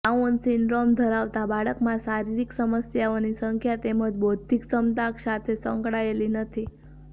down syndrome ધરાવતા બાળકમાં શારીરિક સમસ્યાઓની સંખ્યા તેમની બૌદ્ધિક ક્ષમતા સાથે સંકળાયેલી નથી